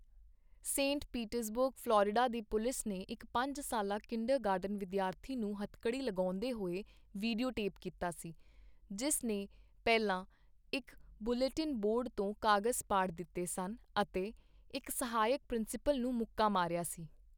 Saint Petersburg, Florida ਦੀ police ਨੇ ਇੱਕ ਪੰਜ ਸਾਲਾ ਕਿੰਡਰਗਾਰਟਨ ਵਿਦਿਆਰਥੀ ਨੂੰ ਹੱਥਕੜੀ ਲਗਾਉਂਦੇ ਹੋਏ ਵੀਡੀਓ ਟੇਪ ਕੀਤਾ ਸੀ ਜਿਸ ਨੇ ਪਹਿਲਾਂ ਇੱਕ ਬੁਲੇਟਿਨ ਬੋਰਡ ਤੋਂ ਕਾਗਜ਼ ਪਾੜ ਦਿੱਤੇ ਸਨ ਅਤੇ ਇੱਕ ਸਹਾਇਕ ਪ੍ਰਿੰਸੀਪਲ ਨੂੰ ਮੁੱਕਾ ਮਾਰਿਆ ਸੀ।